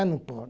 Ah, não pode.